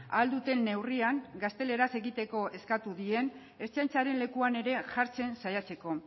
ahal duten neurrian gazteleraz egiteko eskatu dien ertzaintzaren lekuan ere jartzen saiatzeko